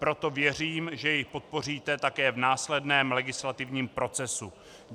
Proto věřím, že jej podpoříte také v následném legislativním procesu.